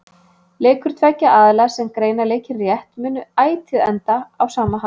Leikur tveggja aðila sem greina leikinn rétt mun ætíð enda á sama hátt.